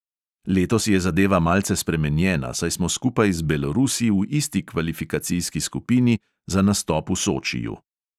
Letos je zadeva malce spremenjena, saj smo skupaj z belorusi v isti kvalifikacijski skupini za nastop v sočiju.